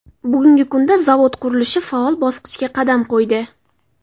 Bugungi kunda zavod qurilishi faol bosqichga qadam qo‘ydi.